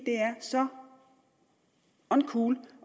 det er så uncool